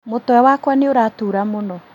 Mũtwe wakwa nĩũratura mũno